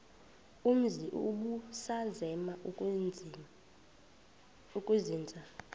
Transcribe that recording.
umzi ubusazema ukuzinza